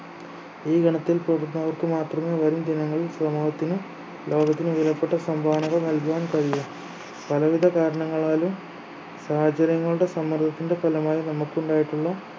ഈ ഗണത്തിൽപ്പെടുന്നവർക്ക് മാത്രമേ വരും ദിനങ്ങളിൽ സമൂഹത്തിനും ലോകത്തിനും വിലപ്പെട്ട സംഭാവനകൾ നൽകുവാൻ കഴിയു പലവിധ കാരണങ്ങളാലും സാഹചര്യങ്ങളുടെ സമ്മർദ്ദത്തിന്റെ ഫലമായി നമുക്ക് ഉണ്ടായിട്ടുള്ള